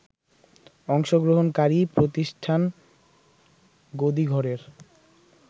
অংশগ্রহণকারী প্রতিষ্ঠান গদিঘরের